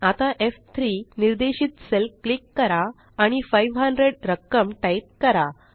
आता एफ3 निर्देशित सेल क्लिक करा आणि 500 रक्कम टाइप करा